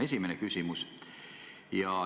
See on esimene küsimus.